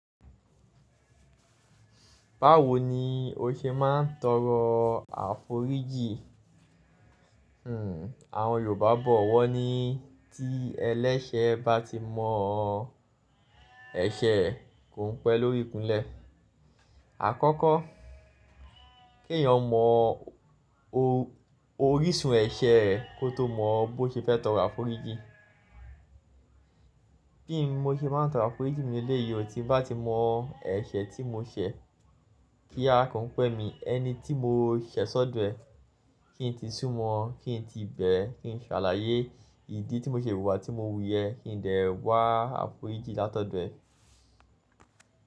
Báwo ni o ṣe máa ń tọrọ àforíjì? Hmm, àwọn Yorùbá bọ̀ wọ́ ní tí ẹlẹ́ṣẹ́ bá ti mọ ẹsẹ̀ kò ń pẹ́ lórí ikunlẹ́. Àkọ́kọ́, kí èèyàn mọ orísun ẹ̀ṣẹ̀ rẹ̀ kó tó mọ bó ṣe fẹ́ tọrọ àforíjì. Bí mo ṣe máa ń tọrọ àforíjì mi ní léleyìí, ò tí bá ti mọ ẹṣẹ̀ tí mo ṣẹ̀ kí a kò ń pẹ́ mi. Ẹni tí mo ṣẹ̀ sọ́dọ̀ ẹ̀, kí ń ti súmọ́ ọ́n, kí ń ti bẹ̀ ẹ́, kí ń ṣàlàyé ìdí tí mo ṣe wùwà tí mo wùyẹ́ kí ń dẹ̀ wá àforíjì látọ̀dọ̀ ẹ̀.